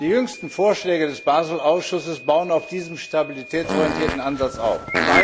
Die jüngsten Vorschläge des Basel Ausschusses bauen auf diesem stabilitätsorientierten Ansatz auf.